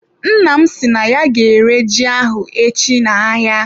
Nna m si na ya ga-ere ji ahụ echi na-ahịa.